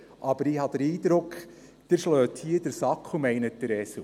Aber ich habe den Eindruck, Sie schlagen hier den Sack und meinen den Esel.